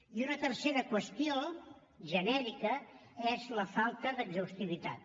i una tercera qüestió genèrica és la falta d’exhaustivitat